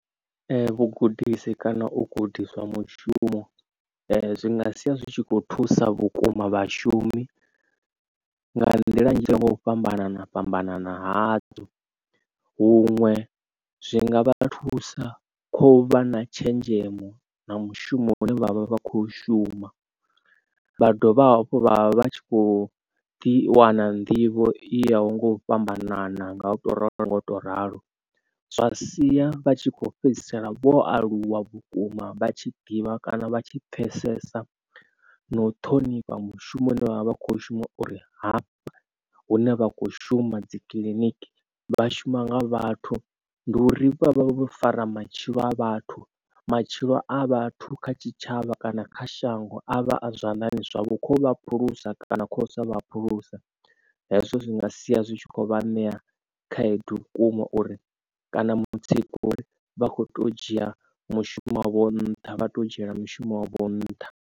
Vhugudisi kana u gudiswa mushumo zwi nga sia zwi tshi kho thusa vhukuma vhashumi nga nḓila nnzhi nga u fhambanana fhambanana hazwo huṅwe zwi nga vha thusa kha u vha na tshenzhemo na mushumo une vha vha vha vha kho shuma vha dovha hafhu vha vha tshi kho ḓi wana nḓivho i ya ho nga u fhambanana nga u to ralo nga u to ralo zwa sia vha tshi kho fhedzisela vho aluwa vhukuma. Vha tshi ḓivha kana vha tshi pfesesa na u ṱhonifha mushumoni une vhavha vha kho shuma uri hafha hune vha kho shuma dzi kiḽiniki vha shuma nga vhathu. Ndi uri vhavha vho fara matshilo a vhathu matshilo a vhathu kha tshitshavha kana kha shango a vha a zwanḓani zwavho khovha phulusa kana kha u sa vha phulusa. Hezwo zwi nga sia zwi tshi kho vha ṋea khaedu vhukuma uri kana mutsiko uri vha kho to dzhia mushumo wavho nṱha vha to dzhiela mushumo wavho nṱha.